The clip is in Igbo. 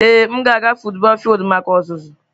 Ee m ga-aga futubọọl fildu maka ọzụzụ.